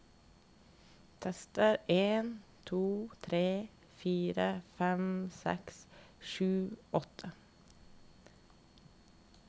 Tester en to tre fire fem seks sju åtte